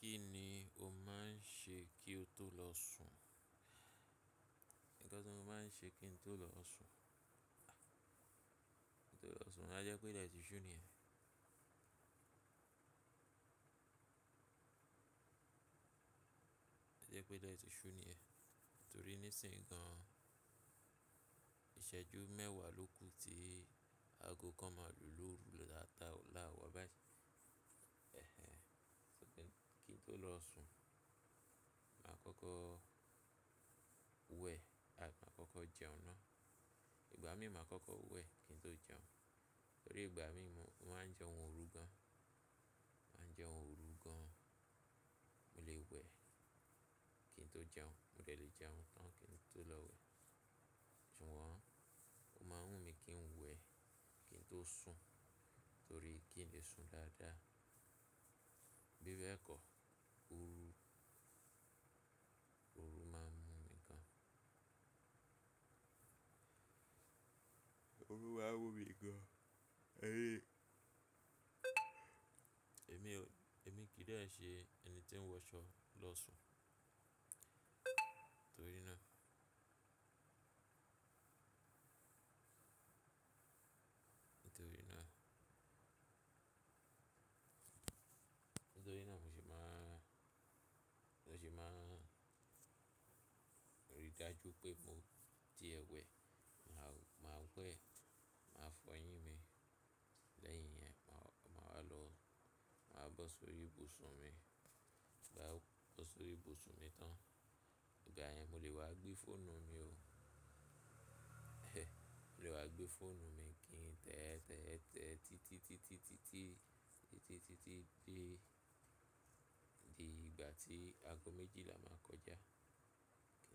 Kí ni o máa ń ṣe kí o tó lọ sùn? Ǹkan ti mo máa ń ṣe kí n tó lọ sùn? Kí n tó lọ sùn, à je pé ile ti ṣú ni yẹn. À je pé ile ti ṣú ni yẹn, torí nísìnyí gan, ìṣẹ́jú mẹ́wàá ló kù tí aago kan máa lò lóru la tááwà báyi. Kí n tó lọ sùn, màá kọ́kọ́ wẹ̀, máa kọ́kọ́ jẹun náà. Ìgbà mí màá kọ́kọ́ wẹ̀ kí n tó jẹun, torí ìgbà mí mo máa ń jẹun òru gan. Mo màá ń jẹun òru gan, mo lè wẹ̀ kí n tó jẹun, mo dè lè jẹun tán kí n tó lọ wẹ̀. Ṣùgbọ́n ó máa ń wù mí kí n wẹ̀ kí n tó sùn torí kí n lè sùn dáadáa. Bibe kọ, òru máa ń wù mí gan. Òru máa ń mù mí gan. Emi kì í dẹ ṣe ẹni tí ń wọṣọ lọ sùn torí náà. Nítorí náà, nítorí náà mo ṣe máa rí i dájú pé mo ti ẹ wẹ̀. Màá wẹ̀, màá fọ eyín mi. Lẹ́yìn yẹn màá wá lọ, màá bọ́ sórí ibùsùn mi. Ti n ba bo sori ibusun mi tan. Ìgbà yẹn mo lè wá gbé fóònù mi ó. Mo lè wá gbé fóònù mi kí n tẹ́tẹ́tẹ́ títítítí di igba ti ago mejila ba koja ki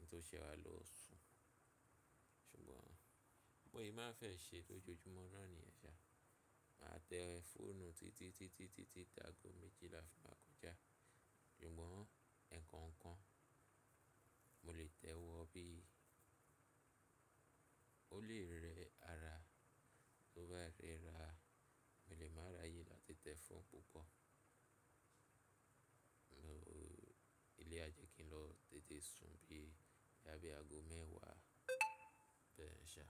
n to sese wa lo sun ṣùgbọ́n bó se máa fẹ ṣe lójoojúmọ́ náà niyẹ̀n ṣà. Màá tẹ fóònù títítítí ti aago méjìlá fi màá kọjá. Ṣùgbọ́n ǹkan kan, mo lè tẹ́ wọ bí i ó lè rẹ ara. Tó bá rẹra, mo lè máa ráyè láti tẹ fóònù púpọ̀. Mo eleyii á jẹ́ kí n lọ tètè sùn bí i boya bi aago mẹ́wàá bẹ́ yẹ̀n ṣà.